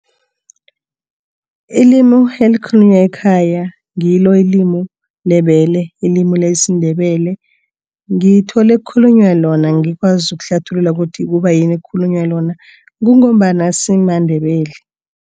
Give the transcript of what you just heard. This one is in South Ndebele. Ilimu elikhulunywa ekhaya ngilo ilimu lebele, ilimi lesiNdebele. Ngithole kukhulunywa lona, angikwazi ukuhlathulula ukuthi kubayini kukhulunywa lona, kungombana simaNdebele.